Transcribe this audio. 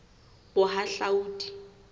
bohahlaudi